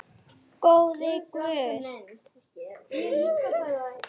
Lá á milli og umlaði.